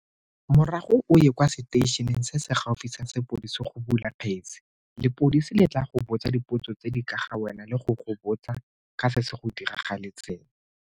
Morago o ye kwa seteišeneng se se gaufi sa sepodisi go bula kgetse. Lepodisi le tla go botsa dipotso tse di ka ga wena le go go botsa ka se se go diragaletseng.